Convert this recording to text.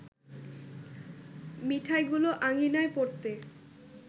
মিঠাইগুলো আঙিনায় পড়তে